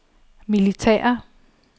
militære